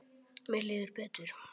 Mér líður betur.